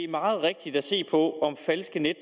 meget rigtig at se på om falske